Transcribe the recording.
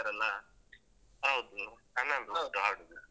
ಹೌದು ಹನ್ನೊಂದ್ ಒಟ್ಟು ಆಡುದು.